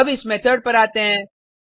अब इस मेथड पर आते हैं